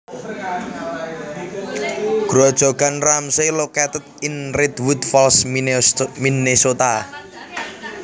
Grojogan Ramsey located in Redwood Falls Minnesota